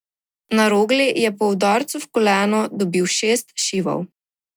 Na Rogli je po udarcu v koleno dobil šest šivov.